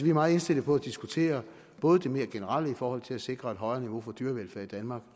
meget indstillet på at diskutere både det mere generelle i forhold til at sikre et højere niveau for dyrevelfærd i danmark